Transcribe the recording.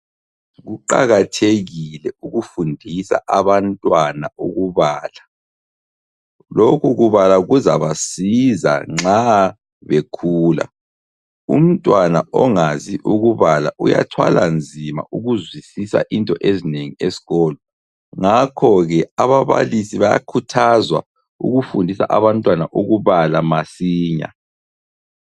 Kuqakathekile ukufundisa abantwana ukubala. Lokhu kubala kuzabasiza nxa bekhula .Umntwana ongazi ukubala uyathwala nzima ukuzwisisa into ezinengi esikolo ngakho ke ababalisi bayakhuthazwa ukufundisa abantwana ukubala masinya.